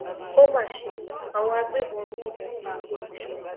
ó má ṣe àwọn agbébọn yìnbọn pa olùṣọ